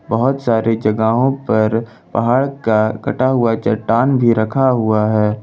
बहुत सारे जगहों पर पहाड़ का कटा हुआ चट्टान भी रखा हुआ है।